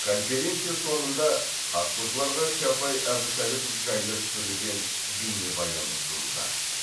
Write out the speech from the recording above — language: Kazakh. конференция соңында қатысушыларға чапай әбутәліпов жайлы түсірілген бейнебаян ұсынылды